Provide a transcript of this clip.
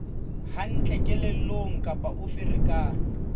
hantle kelellong kapa o ferekane